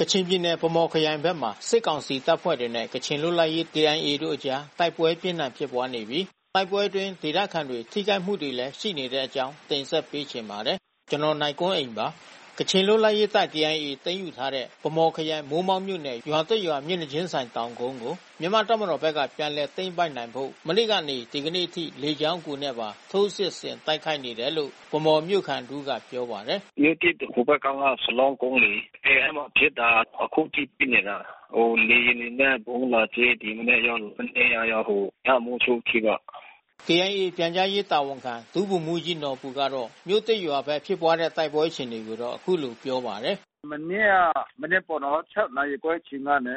ကချင်ပြည်နယ် ဗန်းမော်ခရိုင်ဘက်မှာ စစ်ကောင်စီတပ်ဖွဲ့တွေနဲ့ ကချင်လွတ်လပ်ရေးတပ် တို့အကြား တိုက်ပွဲပြင်းထန်ဖြစ်ပွားနေပြီး တိုက်ပွဲအတွင်း ဒေသခံတွေ ထိခိုက်မှုတွေလည်း ရှိနေပါတယ်။ အပြည့်အစုံကို နိုင်ကွန်းအိန် တင်ပြပေးထားပါတယ်။ ကချင်လွတ်လပ်ရေးတပ် သိမ်းယူထားတဲ့ ဗန်းမော်ခရိုင် မိုးမောက်မြို့နယ် မြို့သစ်ရွာ မျက်နှာချင်းဆိုင်တောင်ကုန်းကို မြန်မာတပ်မတော်ဘက်က ပြန်လည်သိမ်းပိုက်နိုင်ဖို့ မနေ့ကနေ ဒီကနေ့အထိ လေကြောင်းအကူနဲ့ပါ ထိုးစစ်ဆင် တိုက်ခိုက်နေတယ်လို့ ဗန်းမော်မြို့ခံတဦးက ပြောပါတယ်။ “မြို့သစ်ဟိုဘက်ကမ်းက စလောင်းကုန်းလေ၊ အဲဒီမှာဖြစ်တာ။ အခုထိဖြစ်နေတာ။ ဟို လေယာဉ်တွေနဲ့ ဗုံးလာကြဲ၊ ဒီမနက်ရော မနေ့ကရော ညမိုးချုပ်အထိပေါ့။” KIA ပြန်ကြားရေးတာဝန်ခံ ဒုဗိုလ်မှူးကြီးနော်ဘူကတော့ မြို့သစ်ရွာဘက် ဖြစ်ပွားတဲ့ တိုက်ပွဲအခြေအနေကို အခုလိုပြောပါတယ်။ “မနေ့က မနက်ပေါ့နော်။ ၆ နာရီခွဲအချိန်ကနေ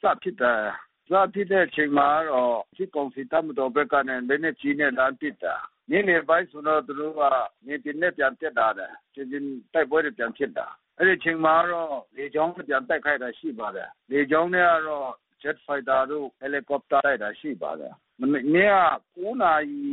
စဖြစ်တယ်။ စဖြစ်တဲ့အချိန်မှာကတော့ စစ်ကောင်စီ တပ်မတော်ဘက်ကနဲ့ လက်နက်ကြီးနဲ့ လှမ်းပစ်တာ။ နေ့လယ်ပိုင်းဆိုရင်တော့ သူတို့က မြေပြင်နဲ့ ပြန်တက်သွားတယ်။ မြေပြင်တိုက်ပွဲတွေ ပြန်ဖြစ်တာ။ အဲဒီအချိန်မှာကတော့ လေကြောင်းနဲ့ ပြန်တိုက်ခိုက်တာ ရှိပါတယ်။ လေကြောင်းနဲ့ကတော့ ဂျက်ဖိုက်တာ၊ ဟယ်လီကော်ပတာတို့နဲ့ တိုက်ခိုက်တာ ရှိပါတယ်။ မနေ့က ၉ နာရီ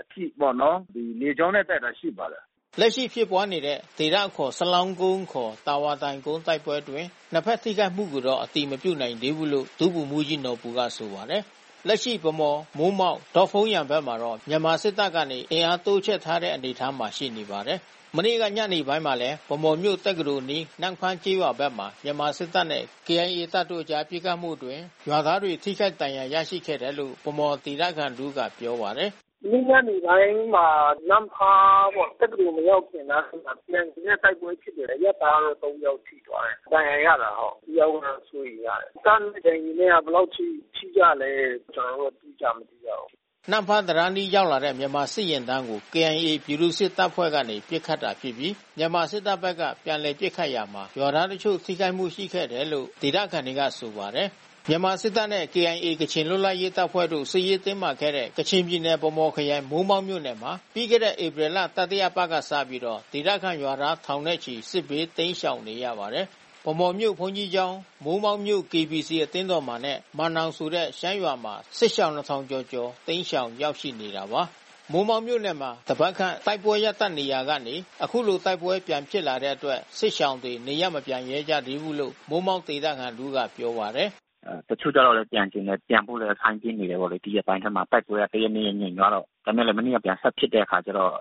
အထိပေါ့နော်။ လေကြောင်းနဲ့ တိုက်ခိုက်တာ ရှိပါတယ်။” လက်ရှိဖြစ်ပွားနေတဲ့ ဒေသအခေါ် စလောင်းကုန်းခေါ် တာဝါတိုင်ကုန်း တိုက်ပွဲအတွင်း နှစ်ဖက်ထိခိုက်မှုတော့ အတည်မပြုနိုင်သေးဘူးလို့ ဒုဗိုလ်မှူးကြီးနော်ဘူက ဆိုပါတယ်။ လက်ရှိ ဗန်းမော်၊ မိုးမောက်၊ ဒေါ့ဖုန်းယန်ဘက်မှာတော့ မြန်မာစစ်တပ်ကနေ အင်အားတိုးချထားတဲ့ အနေအထားမှာ ရှိနေပါတယ်။ မနေ့ကညနေပိုင်းမှာလည်း ဗန်းမော်မြို့ တက္ကသိုလ်အနီး နမ့်ဖားကျေးရွာဘက်မှာ မြန်မာစစ်တပ်နဲ့ KIA တပ်တို့အကြား ပစ်ခတ်မှုအတွင်း ရွာသားတွေ ထိခိုက်ဒဏ်ရာ ရရှိခဲ့တယ်လို့ ဗန်းမော်ဒေသခံတဦးက ပြောပါတယ်။ “မနေ့ညနေပိုင်းမှာ နမ့်ဖားပေါ့၊ တက္ကသိုလ်မရောက်ခင်နားလေးမှာ KIA နဲ့ တိုက်ပွဲဖြစ်တယ်။ အရပ်သား ၃ ယောက် ထိသွားတယ်။ ဒဏ်ရာရတယ် ဟုတ်။ တယောက်တော့ စိုးရိမ်ရတယ်။ တပ်နဲ့ KIA နဲ့က ဘယ်လောက်အထိ ထိကြလဲ ကျနော်တို့ အတိကျ မသိရဘူး။” နမ့်ဖားတံတားအနီး ရောက်လာတဲ့ မြန်မာစစ်ယာဉ်တန်းကို KIA ပြည်သူ့စစ်တပ်ဖွဲ့ကနေ ပစ်ခတ်တာဖြစ်ပြီး မြန်မာစစ်တပ်ဘက်က ပြန်လည်ပစ်ခတ်ရာမှာ ရွာသားတချို့ ထိခိုက်မှုရှိခဲ့တာလို့ ဒေသခံတွေက ဆိုပါတယ်။ မြန်မာစစ်တပ်နဲ့ KIA ကချင်လွတ်လပ်ရေးတပ်ဖွဲ့တို့ စစ်ရေးတင်းမာခဲ့တဲ့ ကချင်ပြည်နယ် ဗန်းမော်ခရိုင် မိုးမောက်မြို့နယ်မှာ ပြီးခဲ့တဲ့ ဧပြီလ တတိယအပတ်ကစပြီး ဒေသခံရွာသား ထောင်နဲ့ချီ စစ်ဘေးတိမ်းရှောင်နေရပါတယ်။ ဗန်းမော်မြို့ ဘုန်းတော်ကြီးကျောင်း၊ မိုးမောက်မြို့ KBC အသင်းတော်မှာနဲ့ မန်နောင်ဆိုတဲ့ ရှမ်းရွာမှာ စစ်ရှောင် ၂,၀၀၀ ကျော်ကျော် တိမ်းရှောင်ရောက်ရှိနေတာပါ။ မိုးမောက်မြို့နယ်မှာ တပတ်ခန့် တိုက်ပွဲရပ်တန့်နေရာကနေ အခုလို တိုက်ပွဲပြန်ဖြစ်လာတဲ့အတွက် စစ်ရှောင်တွေ နေရပ်မပြန်ရဲကြဘူးလို့ မိုးမောက်ဒေသခံတဦးက ပြောပါတယ်။ “တချို့ကလည်း ပြန်ချင်တယ်။ ပြန်ဖို့လည်း စိုင်းပြင်းနေကြတာပေါ့လေ။ ဒီရက်ပိုင်းထဲမှာ တိုက်ပွဲက တရက်နှစ်ရက် ငြိမ်သွားတော့။ ဒါပေမယ့်လည်း မနေ့က ပြန်ဆက်ဖြစ်တဲ့အခါကျတော့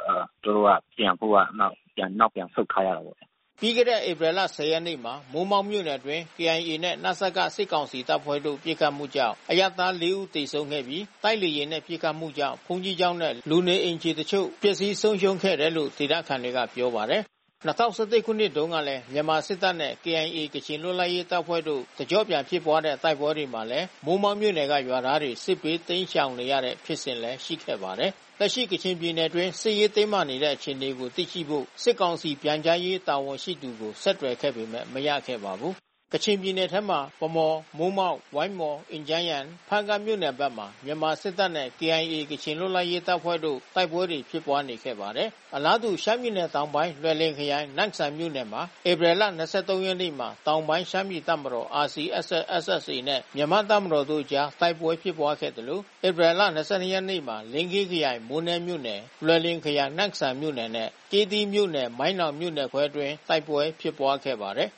သူတို့က ပြန်ဖို့တော့ နောက်ပြန်ဆုတ်ထားရတာပေါ့။” ပြီးခဲ့တဲ့ ဧပြီလ ၁၀ ရက်နေ့မှာ မိုးမောက်မြို့နယ်အတွင်း KIA နဲ့ နစက စစ်ကောင်စီတပ်ဖွဲ့တို့ ပစ်ခတ်မှုကြောင့် အရပ်သား ၄ ဦး သေဆုံးခဲ့ပြီး တိုက်လေယာဉ်နဲ့ ပစ်ခတ်မှုကြောင့် ဘုန်းကြီးကျောင်းနဲ့ လူနေအိမ်တချို့ ပျက်စီးဆုံးရှုံးခဲ့တယ်လို့ ဒေသခံတွေက ပြောပါတယ်။ ၂၀၁၁ ခုနှစ်တုန်းက မြန်မာစစ်တပ်နဲ့ KIA ကချင်လွတ်လပ်ရေးတပ်ဖွဲ့တို့ တကျော့ပြန်ဖြစ်ပွားတဲ့ တိုက်ပွဲတွေမှာလည်း မိုးမောက်မြို့နယ်က ရွာသားတွေ စစ်ဘေးတိမ်းရှောင်နေရတဲ့ ဖြစ်စဉ်လည်း ရှိခဲ့ပါတယ်။ လက်ရှိ ကချင်ပြည်နယ်အတွင်း စစ်ရေးတင်းမာနေတဲ့ အခြေအနေကို သိရှိဖို့ စစ်ကောင်စီ ပြန်ကြားရေး တာဝန်ရှိသူကို ဆက်သွယ်ခဲ့ပေမယ့် မရခဲ့ပါဘူး။ ကချင်ပြည်နယ်ထဲမှာ ဗန်းမော်၊ မိုးမောက်၊ ဝိုင်းမော်၊ အင်ဂျန်းယန်၊ ဖားကန့်မြို့နယ်ဘက်မှာ မြန်မာစစ်တပ်နဲ့ KIA ကချင်လွတ်လပ်ရေးတပ်ဖွဲ့တို့ တိုက်ပွဲတွေ ဖြစ်ပွားနေခဲ့ပါတယ်။ အလားတူ ရှမ်းပြည်နယ်တောင်ပိုင်း လွိုင်လင်ခရိုင် နမ့်စန်မြို့နယ်မှာ ဧပြီလ ၂၃ ရက်နေ့မှာ တောင်ပိုင်းရှမ်းပြည်တပ်မတော် နဲ့ မြန်မာတပ်မတော်တို့အကြား တိုက်ပွဲဖြစ်ပွားခဲ့သလို ဧပြီလ ၂၂ ရက်မှာလည်း လင်းခေးခရိုင် မိုးနဲမြို့နယ် လွိုင်လင်ခရိုင် နမ့်စန်မြို့နယ်နဲ့ ကျေးသီးမြို့နယ် မိုင်းနောင်မြို့နယ်ခွဲအတွင်းမှာ တိုက်ပွဲဖြစ်ပွားခဲ့ပါတယ်။